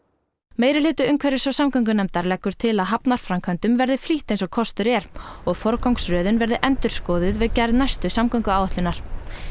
meirihluti umhverfis og samgöngunefndar leggur til að hafnarframkvæmdum verði flýtt eins og kostur er og forgangsröðun verði endurskoðuð við gerð næstu samgönguáætlunar